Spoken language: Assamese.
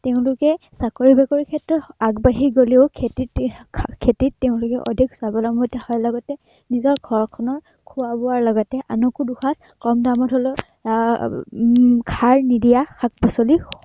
তেওঁলোকে চাকৰি বাকৰিৰ ক্ষেত্ৰত আগবাঢ়ি গলেও খেতিত তেঁওলোকে আহ খেতিত তেওঁলোকে অধিক স্বাৱলম্বিতা নিজৰ ঘৰখনৰ খোৱা বোৱাৰ লগতে আনকো দুসাঁজ কম দামত হলেও আহ সাঁৰ নিদিয়া শাক-পাচলি